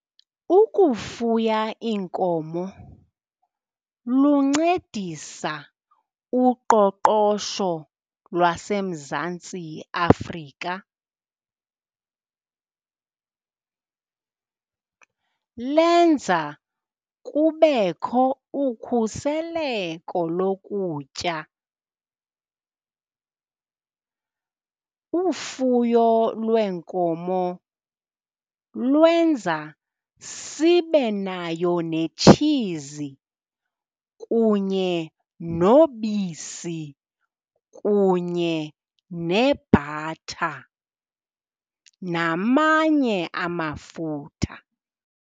Ukufuya iinkomo luncedisa uqoqosho lwaseMzantsi Afrika. Lenza kubekho ukhuseleko lokutya. Ufuyo lweenkomo lwenza sibe nayo netshizi, kunye nobisi, kunye nebhatha namanye amafutha.